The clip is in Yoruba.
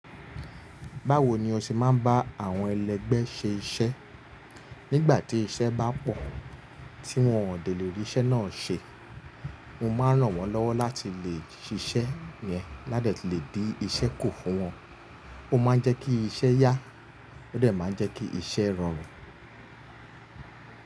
Báwo ni o ṣe máa ń bá àwọn ẹlẹ́gbẹ́ se iṣẹ́? Nígbà tí iṣẹ́ bá pọ̀, tí wọn ò de lè rí iṣẹ́ náà ṣe, mo máa ràn wọ́n lọ́wọ́ láti lè ṣiṣẹ́ yẹn ládè ti le dí iṣẹ́ kù fún wọn. Ó máa ń jẹ́ kí iṣẹ́ yá, ó dẹ̀ máa ń jẹ́ kí iṣẹ́ rọrùn.